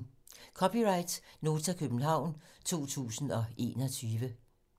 (c) Nota, København 2021